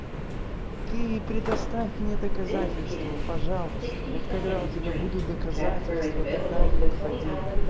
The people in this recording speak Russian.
ты предоставь мне доказательства пожалуйста вот когда у тебя будут доказательства тогда и подходи